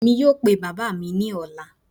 Emi yoo pe baba mi ni ọla.